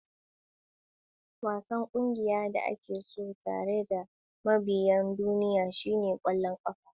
Wasan ƙungiyar da ake so tare da mabiyan duniya shine ƙwallon ƙafa.